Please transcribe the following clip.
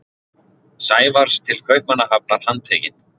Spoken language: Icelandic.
Sævars til Kaupmannahafnar handtekinn.